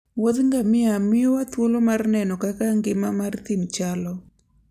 Wuodh ngamia miyowa thuolo mar neno kaka ngima mar thim chalo.